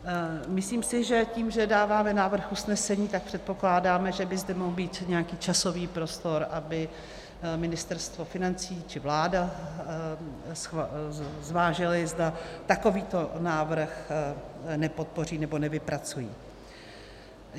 Myslím si, že tím, že dáváme návrh usnesení, tak předpokládáme, že by zde mohl být nějaký časový prostor, aby Ministerstvo financí či vláda zvážily, zda takovýto návrh nepodpoří nebo nevypracují.